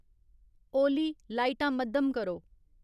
ओली लाइटां मद्धम करो